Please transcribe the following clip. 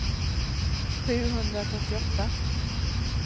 sjuhundratrettioåtta